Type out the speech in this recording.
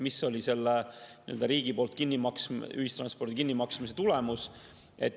Mis oli riigi poolt ühistranspordi kinnimaksmise tulemus?